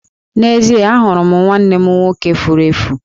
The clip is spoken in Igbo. N'ezie, ahụrụ m nwanne m nwoke furu efu.